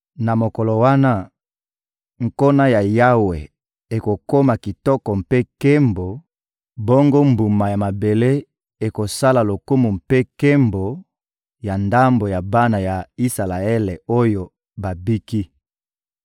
Na mokolo wana, nkona ya Yawe ekokoma kitoko mpe nkembo, bongo mbuma ya mabele ekosala lokumu mpe nkembo, ya ndambo ya bana ya Isalaele oyo babiki.